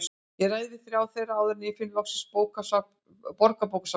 Ég ræði við þrjá þeirra áður en ég finn loks Borgarbókasafnið.